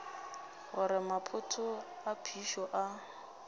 gore maphoto a phišo a